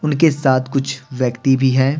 उनके साथ कुछ व्यक्ति भी हैं।